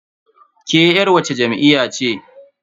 Ke yar wacce jam'iyya ce?